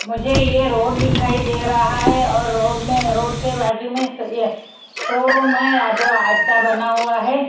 मुझे ये रोड दिखाई दे रहा है और रोड में रोड के बाजू में ये शोरूम है जो अत्ता बना हुआ है।